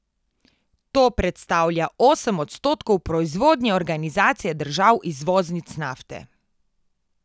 To predstavlja osem odstotkov proizvodnje Organizacije držav izvoznic nafte.